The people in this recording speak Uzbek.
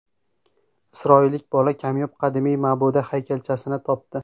Isroillik bola kamyob qadimiy ma’buda haykalchasini topdi.